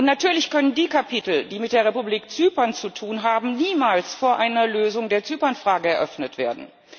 Und natürlich können die Kapitel, die mit der Republik Zypern zu tun haben, niemals vor einer Lösung der Zypernfrage eröffnet werden.